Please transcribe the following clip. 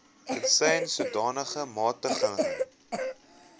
tensy sodanige magtiging